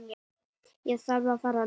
Ég þarf að fara núna